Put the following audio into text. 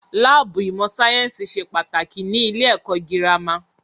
Láàbù ìmọ̀ sáyẹ́nsì ṣe pàtàkì ní ilé ẹ̀kọ́ gírámà.